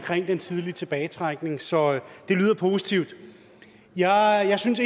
den tidlige tilbagetrækning så det lyder positivt jeg synes